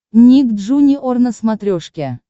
ник джуниор на смотрешке